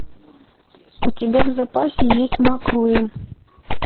у тебя в запасе есть маккуин